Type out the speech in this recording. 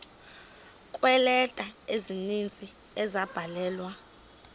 kweeleta ezininzi ezabhalelwa